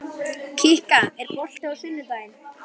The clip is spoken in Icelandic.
Kikka, er bolti á sunnudaginn?